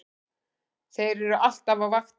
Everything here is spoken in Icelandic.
Þeir eru alltaf á vaktinni!